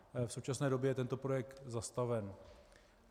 V současné době je tento projekt zastaven.